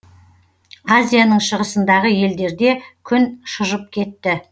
азияның шығысындағы елдерде күн шыжып кетті